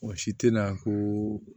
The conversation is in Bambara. Mɔgɔ si tɛna ko